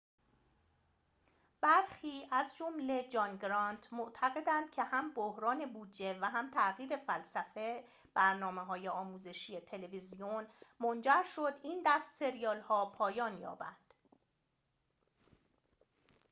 برخی از جمله جان گرانت معتقدند که هم بحران بودجه و هم تغییر فلسفه برنامه‌های آموزشی تلویزیون منجر شد این دست سریال‌ها پایان یابند